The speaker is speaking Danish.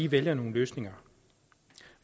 vælger nogle løsninger